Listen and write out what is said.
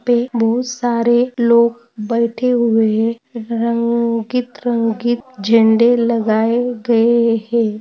पे बहुत सारे लोग बैठे हुए है। रंगीत रंगीत झंडे लगाए गए है।